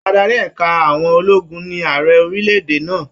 Adarí ẹ̀ka àwọn ologun ní Ààrẹ orílẹ̀-èdè náà.